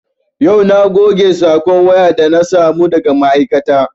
Yau na goge sakon waya da na samu daga ma'aikata